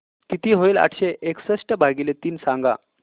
किती होईल आठशे एकसष्ट भागीले तीन सांगा